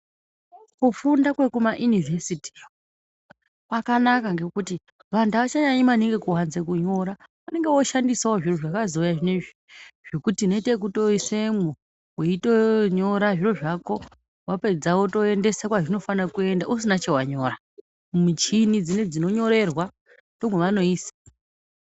Kufunda kwekuma inivhesiti kwakanaka ngekuti vantu avachanyanyi kunyora maningi. Vakushandisawo zvakazouya zvinezve zvekuti inoite ekuisemwo weitonyora zviro zvako wapedza wotoendesa kwazvinofana kutoenda usina chawanyora. Michini dzinodzi dzinonyorerwa ndomwavanoisa.